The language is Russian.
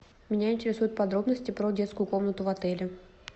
меня интересуют подробности про детскую комнату в отеле